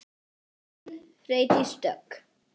Þín, Freydís Dögg.